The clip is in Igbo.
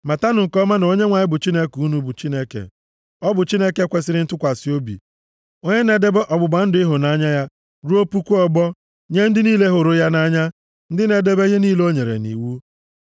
Matanụ nke ọma na Onyenwe anyị bụ Chineke unu bụ Chineke. Ọ bụ Chineke kwesiri ntụkwasị obi, onye na-edebe ọgbụgba ndụ ịhụnanya ya ruo puku ọgbọ, nye ndị niile hụrụ ya nʼanya, ndị na-edebe ihe niile o nyere nʼiwu.